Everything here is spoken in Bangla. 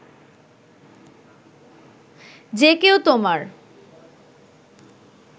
যে কেউ তোমার